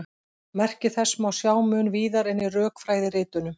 Merki þessa má sjá mun víðar en í rökfræðiritunum.